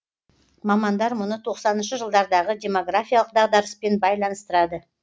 мамандар мұны тоқсаныншы жылдардағы демографиялық дағдарыспен байланыстырады